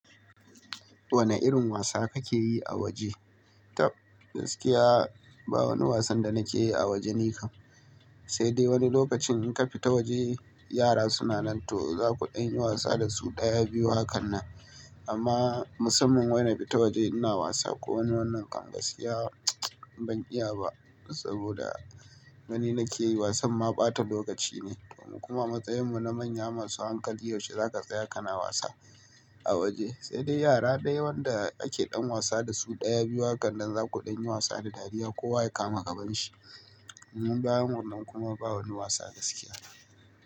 Wane irin wasa kake yi a waje? Tab, gaskiya ba wani wasan da nake yi a waje nikam. Sai dai wani lokacin in ka fita waje yara suna nan to za ku ɗan yi wasa da su ɗaya, biyu hakannan. Amma musamman wai na fita waje ina wasa ko wani wannan kam gaskiya ban iya ba saboda gani nake yi wasan ma ɓata lokaci ne. Kuma amatsayin mu na manya masu hankali, yaushe za ka tsaya kana wasa a waje. Sai dai yara dai wanda ake ɗan wasa da su ɗaya, biyu hakannan za ku ɗan yi wasa da dariya kowa ya kama gaban shi. Mu bayan wannan kuma ba wani wasa gaskiya.